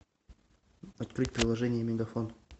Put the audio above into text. открыть приложение мегафон